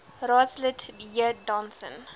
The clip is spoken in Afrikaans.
raadslid j donson